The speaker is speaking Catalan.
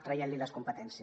traient li’n les competències